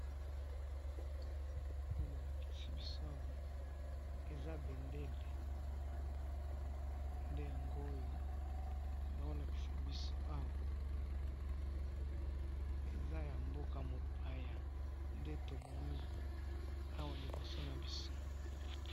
oyo balakisi biso awa eza bendele nde yango oyo baho lakisa biso awa ,eza ya mboka mupaya nde tomoni awa liiboso nabiso.